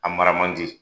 A mara man di